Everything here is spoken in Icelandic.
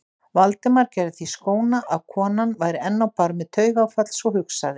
Valdimar gerði því skóna að konan væri enn á barmi taugaáfalls og hugsaði